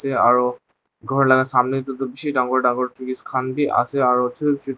Aro ghor la samne te toh beshi dangor dangor trees khan bi ase aro chutu chutu--